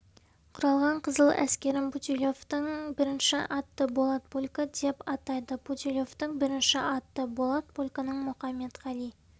құралған қызыл әскерін путилевтің бірінші атты болат полкі деп атайды путилевтің бірінші атты болат полкінің мұқаметқали